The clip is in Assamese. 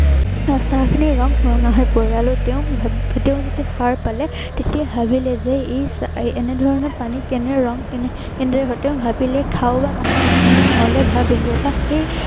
চাহখিনিৰ ৰং ৰঙা হৈ পৰিল আৰু তেওঁ, এৰ তেওঁ যেতিয়া সাৰ পালে তেতিয়া ভাবিলে যে এই এনে ধৰনৰ পানীত কেনে ধৰনৰ ৰং কেনে ধৰনেৰে হল। তেওঁ ভাবিলে খাওঁ বা নেখাওঁ এনে ধৰনৰ ভাৱ আহিলে। বা সেই